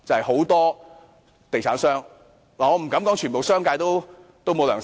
很多地產商——我不敢說整個商界——都沒有良心。